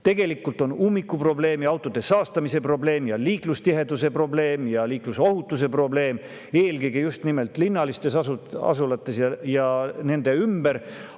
Tegelikult on ummiku probleem, autodega saastamise probleem ja liiklustiheduse probleem, samuti liiklusohutuse probleem eelkõige just nimelt linnalistes asulates ja nende ümber.